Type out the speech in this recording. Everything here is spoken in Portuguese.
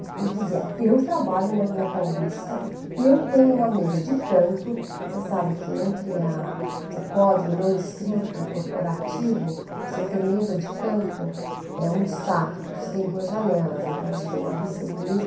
Porque eu dizia, eu trabalho na Avenida Paulista, eu tenho uma mesa de canto, você sabe que entre a, o código não escrito, corporativo, você ter mesa de canto é um destaque, porque você tem duas janelas, então você tem uma vista bonita.